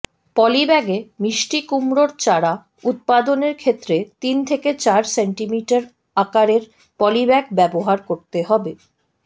পলিব্যাগে মিষ্টিকুমড়োর চারা উৎপাদনের ক্ষেত্রে তিন থেকে চার সেন্টিমিটার আকারের পলিব্যাগ ব্যবহার করতে হবে